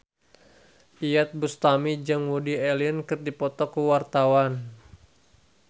Iyeth Bustami jeung Woody Allen keur dipoto ku wartawan